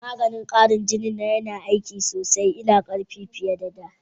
Maganin kara jinin nan yana aiki sosai, ina jin karfi fiye da' da.